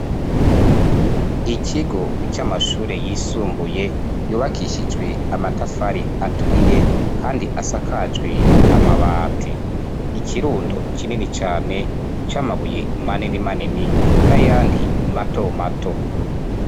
ikigo c'amashure yisumbuye yubakishijwe amatafari aturiye, kandi asakajwe amabati. ikirundo kinini cane c'amabuye manini manini, n'ayandi mato mato.